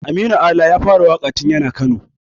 Aminu Ala ya fara waƙa tun yana yaro.